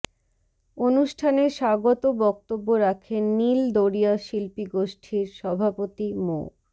অনুষ্ঠানে স্বাগত বক্তব্য রাখেন নীল দরিয়া শিল্পীগোষ্ঠীর সভাপতি মো